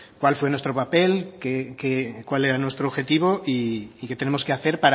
cuál fue nuestro papel cuál era nuestro objetivo y qué tenemos que hacer